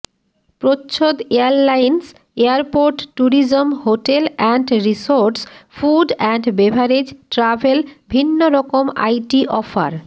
প্রচ্ছদ airlines airport tourism hotel and resorts food and beverage travel ভিন্নরকম IT offer